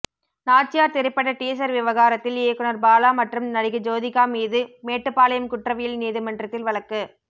நாச்சியார் திரைப்பட டீசர் விவகாரத்தில் இயக்குனர் பாலா மற்றும் நடிகை ஜோதிகா மீது மேட்டுப்பாளையம் குற்றவியல் நீதிமன்றத்தில் வழக்கு